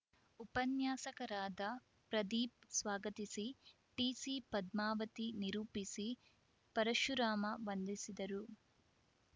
ಉಪನ್ಯಾಸಕರಾದ ಪ್ರದೀಪ್‌ ಸ್ವಾಗತಿಸಿ ಟಿಸಿ ಪದ್ಮಾವತಿ ನಿರೂಪಿಸಿ ಪರಶುರಾಮ ವಂದಿಸಿದರು